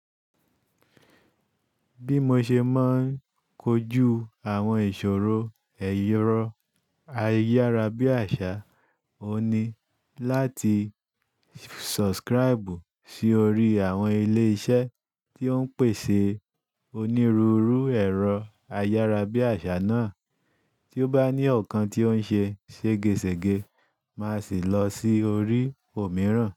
Bí mo ṣe máa ń kojú àwọn ìṣòro ẹ̀rọ ayárabíàṣá, òun ní láti subscribe sí orí àwọn ilé-iṣẹ́ tí ó ń pèsè onírúurú ẹ̀rọ ayárabíàṣá náà. Tí ó bá ní ọ̀kan tí ó ń ṣe ségesège, máa sì lọ sí orí òmíràn.